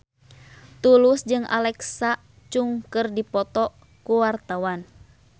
Tulus jeung Alexa Chung keur dipoto ku wartawan